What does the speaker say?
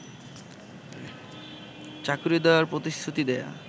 চাকুরী দেয়ার প্রতিশ্রুতি দেয়া